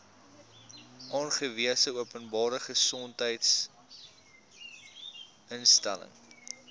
aangewese openbare gesondheidsinstelling